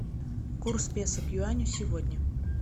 курс песо к юаню сегодня